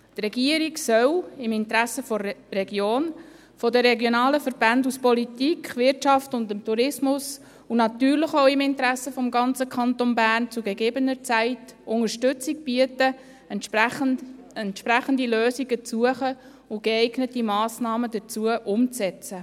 Die Regierung soll im Interesse der Region, der regionalen Verbände aus Politik, Wirtschaft und des Tourismus, und natürlich auch im Interesse des ganzen Kantons Bern, zu gegebener Zeit Unterstützung bieten, entsprechende Lösungen zu suchen und geeignete Massnahmen dazu umzusetzen.